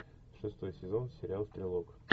шестой сезон сериал стрелок